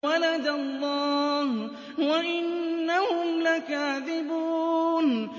وَلَدَ اللَّهُ وَإِنَّهُمْ لَكَاذِبُونَ